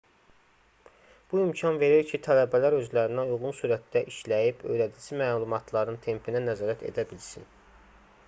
bu imkan verir ki tələbələr özlərinə uyğun sürətdə işləyib öyrədici məlumatların tempinə nəzarət edə bilsin